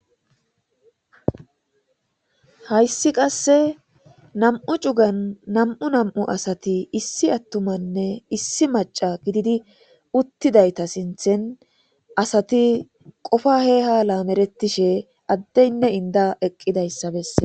Hassi qase nam"u cugan nam"u nam'u asati issi atummanne issi maca gididi utidayita sinththen asati qofa he ha lameretishshe adeyine inda eqidayisa besses